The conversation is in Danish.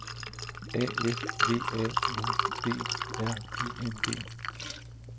A F V A N D R I N G